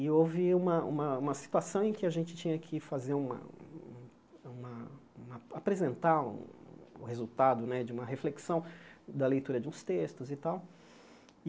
E houve uma uma uma situação em que a gente tinha que fazer uma uma uma... apresentar o resultado né de uma reflexão da leitura de uns textos e tal.